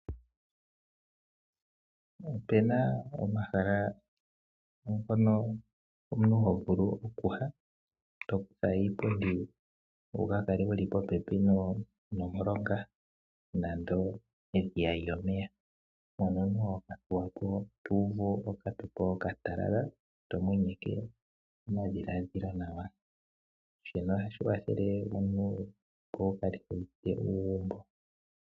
Opu na omahala mpono omuntu ho vulu okuya, to kutha iipundi wu kale wu li popepi nomulonga nenge edhiya lyomeya, mpono omuntu hoka thuwa po to uvu okambepo okatalala to thuwitha omadhiladhilo goye. Shika ohashi kwathele omuntu, opo wu kale wu uvite uugumbo.